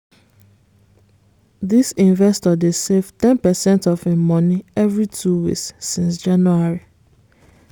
this investor dey save ten percent of him money every two weeks since january.